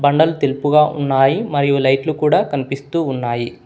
బండలు తెలుపుగా ఉన్నాయి మరియు లైట్లు కూడా కనిపిస్తూ ఉన్నాయి.